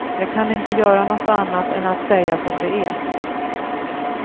Jag kan inte göra något annat än att säga som det är.